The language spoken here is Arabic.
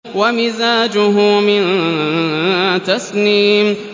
وَمِزَاجُهُ مِن تَسْنِيمٍ